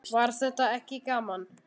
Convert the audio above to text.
Var þetta ekki gaman?